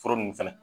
Foro nunnu fɛnɛ